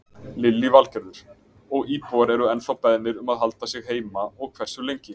Lillý Valgerður: Og íbúar eru ennþá beðnir um að halda sig heima og hversu lengi?